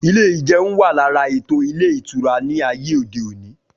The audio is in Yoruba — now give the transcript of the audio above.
Ilé ìjeun wà lára ètò ilé ìtura ní ayé òde òní